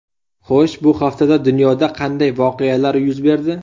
Xo‘sh, bu haftada dunyoda qanday voqealar yuz berdi?